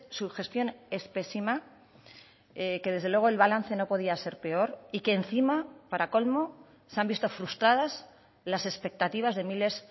su gestión es pésima que desde luego el balance no podía ser peor y que encima para colmo se han visto frustradas las expectativas de miles